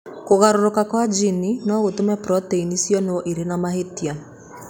Kũgarũrũka kwa jini no gũtũme proteini cionwo irĩ na mahĩtia.